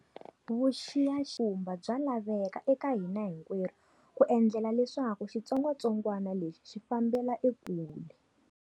Vuxiyakumba bya laveka eka hina hinkwerhu ku endlela leswaku xitsongwatsongwana lexi xi fambela ekule.